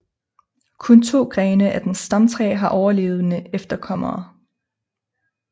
Kun to grene af dens stamtræ har overlevende efterkommere